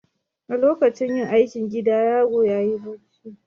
A lokacin yin aikin gida yaron ya yi bacci.